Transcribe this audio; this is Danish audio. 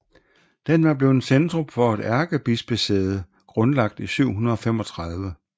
Den var blevet centrum for et ærkebispesæde grundlagt i 735